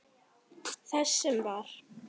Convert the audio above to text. Þess sem var.